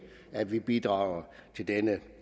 at vi bidrager til denne